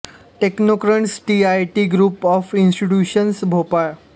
technocrats T I T group of institutions Bhopal